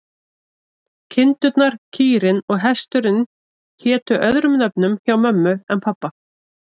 Kindurnar, kýrin og hesturinn hétu öðrum nöfnum hjá mömmu en pabba.